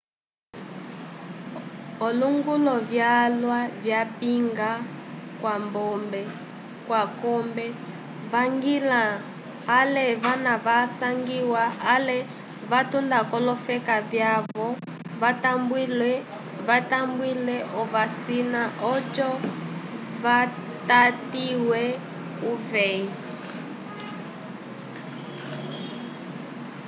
olonguvu vyalwa vyapinga k'akombe vañgila ale vana vasangiwa ale vatunda k'olofeka vyavo vatambule ovasina oco vatatiwe k'uveyi